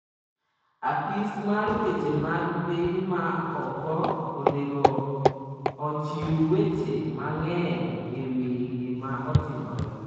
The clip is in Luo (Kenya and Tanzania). Apis mar weche mag piny ma oko onego ochiw weche mang'eny ewi gima otimore.